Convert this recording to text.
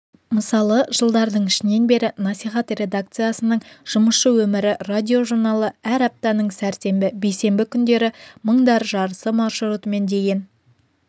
мысалы жылдардың ішінен бері насихат редакциясының жұмысшы өмірі радиожурналы әр аптаның сәрсенбі бейсенбі күндері мыңдар жарысы маршрутымен деген